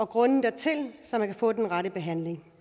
grunden dertil så man kan få den rette behandling